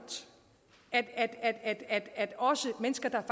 at at også mennesker der